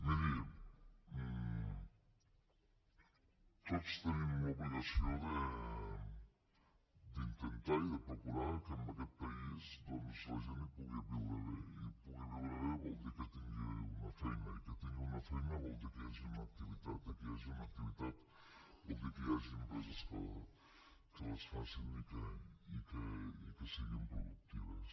miri tots tenim l’obligació d’intentar i de procurar que en aquest país doncs la gent hi pugui viure bé i que pugui viure bé vol dir que tingui una feina i que tingui una feina vol dir que hi hagi una activitat i que hi hagi una activitat vol dir que hi hagi empreses que les facin i que siguin productives